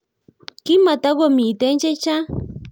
Kimakotukomite chechang